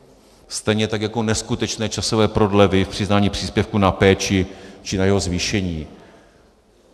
Stejně tak jako neskutečné časové prodlevy v přiznání příspěvku na péči či na jeho zvýšení.